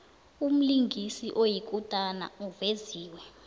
umlingisi oyikutani uveziwe